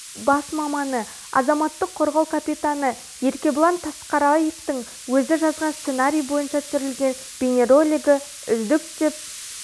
бас маманы азаматтық қорғау капитаны еркебұлан тасқараевтың өзі жазған сценарий бойынша түсірілген бейнеролигі үздік деп